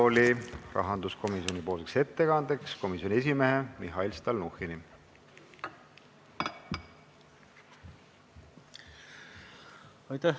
Palun rahanduskomisjoni ettekandeks kõnetooli komisjoni esimehe Mihhail Stalnuhhini!